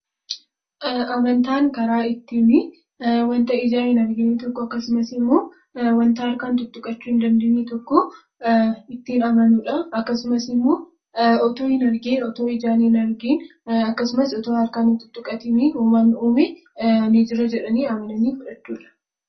Amantaan karaa ittiini wanta ijaan hin argine tokko akkasumas immoo wanta harkaan xuxuqachuu hin dandeenye tokko ittiin amanuu dha. Akkasumas immoo utuu ijaan hin argin akkasumas utuu harkaan hin xuxuqatini uumaan uume "nii jira" jedhanii amananii fudhachuu dha.